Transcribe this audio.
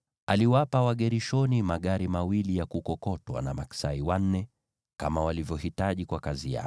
Aliwapa Wagershoni magari mawili ya kukokotwa na maksai wanne, kama walivyohitaji kwa kazi yao,